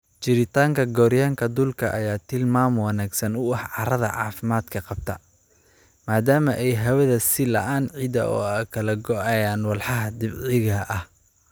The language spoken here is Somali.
Jiritaanka gooryaanka dhulka ayaa tilmaam wanaagsan u ah carrada caafimaadka qabta, maadaama ay hawada siilaan ciidda oo ay kala gooyaan walxaha dabiiciga ah.